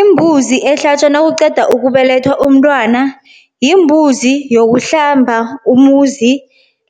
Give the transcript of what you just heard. Imbuzi ehlatjwa nakuqeda ukubelethwa umntwana. Yimbuzi yokuhlamba umuzi